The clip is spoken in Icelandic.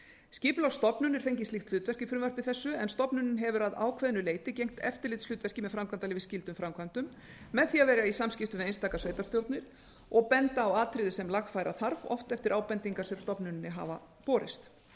skipulagsstofnun er fengið slíkt hlutverk í frumvarpi þessu en stofnunin hefur að ákveðnu leyti gegnt eftirlitshlutverki með framkvæmdaleyfi skyldum framkvæmdum með því að vera í samskiptum við einstaka sveitarstjórnir og benda á atriði sem lagfæra þarf oft eftir ábendingar sem stofnuninni hafa borist